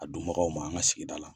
A dunbagaw man an ka sigida la.